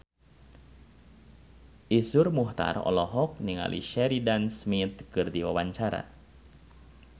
Iszur Muchtar olohok ningali Sheridan Smith keur diwawancara